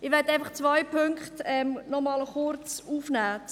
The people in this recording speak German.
Ich möchte einfach zwei Punkte noch einmal kurz aufnehmen.